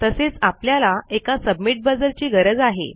तसेच आपल्याला एका सबमिट बझर ची गरज आहे